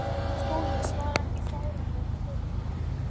SKÚLI: Ég svara ekki fáránlegum spurningum.